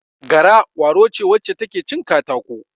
Gara, ƙwaro ce wacce ta ke cin katako.